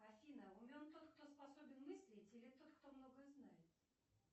афина умен тот кто способен мыслить или тот кто много знает